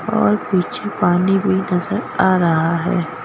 और पीछे पानी भी नजर आ रहा है।